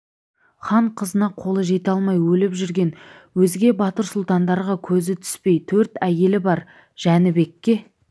хан қызына қолы жете алмай өліп жүрген өзге батыр сұлтандарға көзі түспей төрт әйелі бар жәнібекке